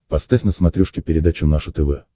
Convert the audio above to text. поставь на смотрешке передачу наше тв